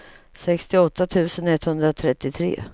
sextioåtta tusen etthundratrettiotre